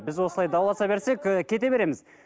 біз осылай дауласа берсек і кете береміз